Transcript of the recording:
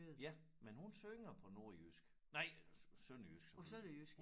Ja men hun synger på nordjysk nej sønderjysk selvfølgelig